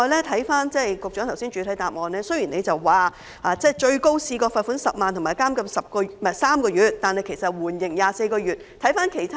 雖然局長在主體答覆中提到最高可判處罰款10萬元及監禁6個月，但大多數被告人被判處緩刑24個月。